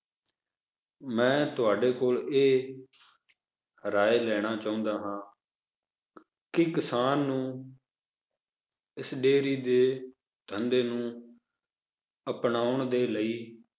ਮੈਂ ਤੁਹਾਡੇ ਕੋਲ ਇਹ ਰਾਏ ਲੈਣਾ ਚਾਹੁੰਦਾ ਹਾਂ ਕਿ ਕਿਸਾਨ ਨੂੰ ਇਸ dairy ਦੇ ਧੰਦੇ ਨੂੰ ਅਪਨਾਉਣ ਦੇ ਲਈ